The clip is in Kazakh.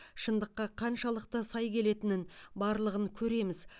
шындыққа қаншалықты сай келетінін барлығын көреміз